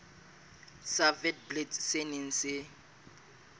sa witblits se neng se